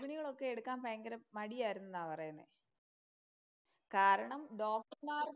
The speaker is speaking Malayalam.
ഗർഭിണികൾ ഒക്കെ എടുക്കാൻ ഭയങ്കര മടിയായിരുന്നു എന്നാ പറയുന്നേ. കാരണം ഡോക്ടര്‍മാര്‍